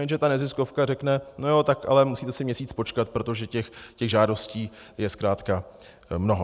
Jenže ta neziskovka řekne: no jo, tak ale musíte si měsíc počkat, protože těch žádostí je zkrátka mnoho.